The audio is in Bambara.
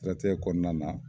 Siratigɛ kɔnɔna na